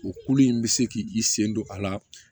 O kulu in bɛ se k'i sen don a la